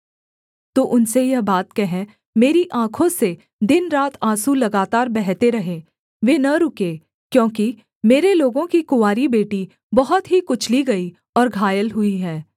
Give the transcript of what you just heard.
तू उनसे यह बात कह मेरी आँखों से दिनरात आँसू लगातार बहते रहें वे न रुकें क्योंकि मेरे लोगों की कुँवारी बेटी बहुत ही कुचली गई और घायल हुई है